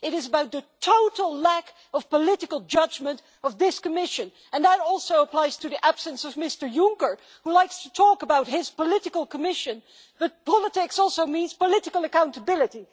it is about the total lack of political judgment of this Commission and that also applies to the absence of Mr Juncker, who likes to talk about his political Commission, but politics also means political accountability.